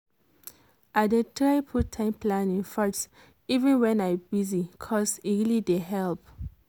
i dey try put time planning first even when i busy cos e really dey help.